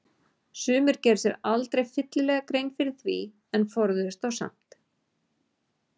Sumir gerðu sér aldrei fyllilega grein fyrir því en forðuðust þá samt.